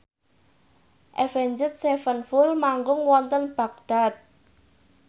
Avenged Sevenfold manggung wonten Baghdad